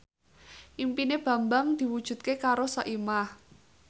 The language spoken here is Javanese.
impine Bambang diwujudke karo Soimah